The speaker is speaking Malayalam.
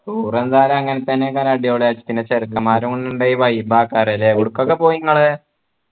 tour എന്തായാലും അങ്ങനെതന്നെ അടിപൊളി ആയിരിക്കും പിന്നെ ചെർക്കന്മാരും കൂടെ ഇണ്ടെ vibe ആക്കാലോ ല്ലേ എവിട്ക്കൊക്കെ പോയ് ഇങ്ങള്